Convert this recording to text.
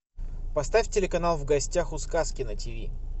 поставь телеканал в гостях у сказки на тиви